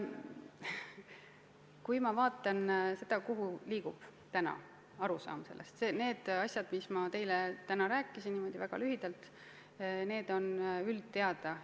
Kui ma vaatan, kuhu liigub arusaam asjadest, millest ma teile täna rääkisin, siis niimoodi väga lühidalt öeldes on need üldteada.